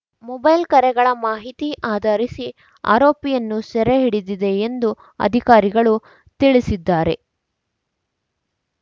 mobile ಕರೆಗಳ ಮಾಹಿತಿ ಆಧಾರಿಸಿ ಆರೋಪಿಯನ್ನು ಸೆರೆ ಹಿಡಿದಿದೆ ಎಂದು ಅಧಿಕಾರಿಗಳು ತಿಳಿಸಿದ್ದಾರೆ